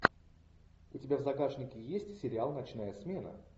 у тебя в загашнике есть сериал ночная смена